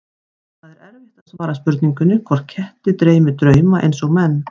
Það er erfitt að svara spurningunni hvort ketti dreymi drauma eins og menn.